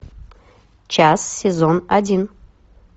час сезон один